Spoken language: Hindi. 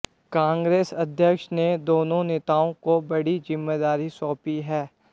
कांग्रेस अध्यक्ष ने दोनों नेताओं को बड़ी जिम्मेदारी सौंपी है